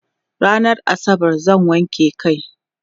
rannan asabar zan wanke kai